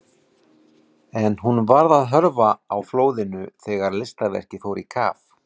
En hún varð að hörfa á flóðinu þegar listaverkið fór í kaf.